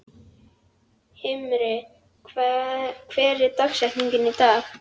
Himri, hver er dagsetningin í dag?